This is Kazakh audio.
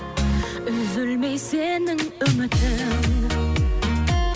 үзілмей сенің үмітің